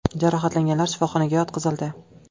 Jarohatlanganlar shifoxonaga yotqizildi.